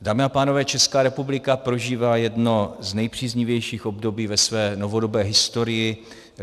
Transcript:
Dámy a pánové, Česká republika prožívá jedno z nejpříznivějších období ve své novodobé historii.